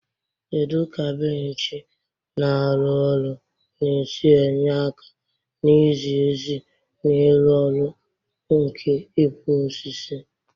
Kedu ka bench na-arụ ọrụ na-esi enye aka na izi ezi na ịrụ ọrụ nke ịkwa osisi?